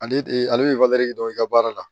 Ale de ale bɛ dɔ i ka baara la